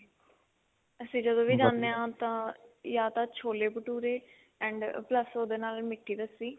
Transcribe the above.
ਅਸੀਂ ਜਦੋਂ ਵੀ ਜਾਣੇ ਹਾਂ ਆਪਾਂ ਯਾ ਤਾਂ ਛੋਲੇ ਭਟੁਰੇ and plus ਉਹਦੇ ਨਾਲ ਮਿੱਠੀ ਲੱਸੀ